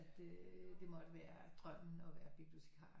Øh det måtte være drømmen at være bibliotikar